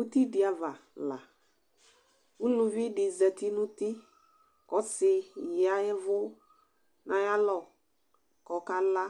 Ʋtidi ava la ʋlividi zati nʋ ʋti ɔsi ya ɛvʋ nʋ ayʋ alɔ kʋ ɔkala